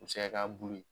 U bɛ se ka k'a bulu ye